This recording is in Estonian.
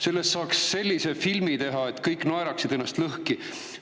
Sellest saaks sellise filmi teha, et kõik naeraksid ennast lõhki.